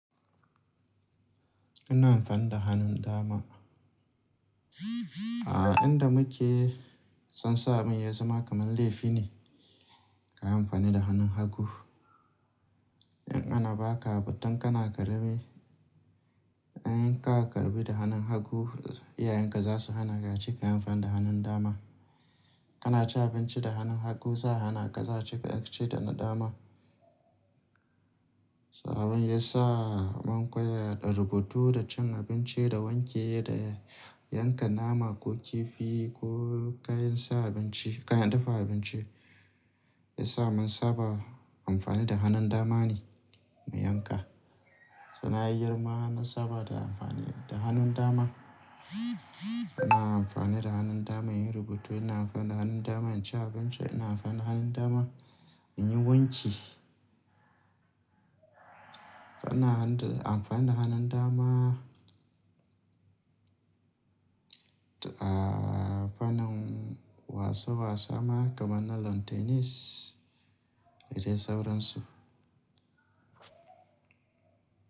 Ina amfani da hannun dama. A inda muke son sabin ya zama kamar laifi ne ka yi amfani da hannun hagu. In ana baka abu tun kana karami in ka karɓi da hannun hagu, iyayenka za su hana ka ace kayi amfani da hannun dama. Kana cin abinci da hannun hagu, za a hana ka, za'a ce ka rikaci da na dama. So abin ya sa mun koya da rubutu, da cin abinci, da wanke, da yanka nama ko kifi ko kayan su abinci, kayan dafa abinci. Ya sa mun saba amfani da hannun dama ne mu yanka. So nayi girma na saba da amfani da hannun dama. Ina amfani da hannun dama in yi rubutu, ina amfani da hannun dama in ci abinci, ina amfani da hannun dama in yi wanki. Ina amfani da hannun dama a fannin wasa wasa ma kamar na lawn tennis. Da dai sauransu.